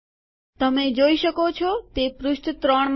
તમે જોઈ શકો છો તે પૃષ્ઠ 3 માં છે